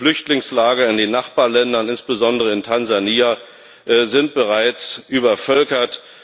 Die Flüchtlingslager in den Nachbarländern, insbesondere in Tansania, sind bereits übervölkert.